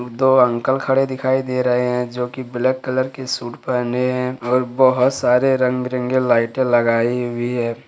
दो अंकल खड़े दिखाई दे रहे हैं जो की ब्लैक कलर के सूट पहने हैं और बहोत सारे रंग बिरंगे लाइटे लगाई हुई है।